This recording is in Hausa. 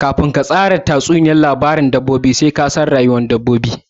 Kafin ka tsara labarin tatsuniyar dabbobi sai ka san iirin rayuwar dabbobin